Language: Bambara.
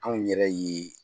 Anw yɛrɛ ye